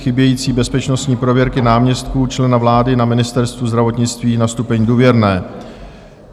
Chybějící bezpečnostní prověrky náměstků člena vlády na Ministerstvu zdravotnictví na stupeň "důvěrné".